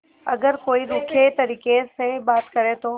अगर कोई रूखे तरीके से बात करे तो